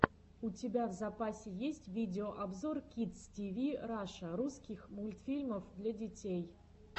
у тебя в запасе есть видеообзор кидс тиви раша русский мультфильмов для детей